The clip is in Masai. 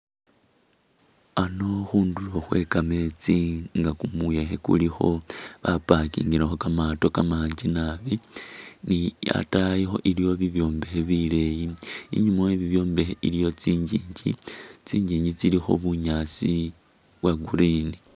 Ano khunduro khwe kamesti nga kumuyekhe kulikho, ba packingile kho kamato kamangi nabi ni atayikho iliyo bibyombekhe bileyi,,, enyuma we bibyombekhe iliyo kyinyinji , kyinyinji tsilikho bunyaasi bwa’green.